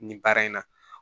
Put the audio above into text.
Nin baara in na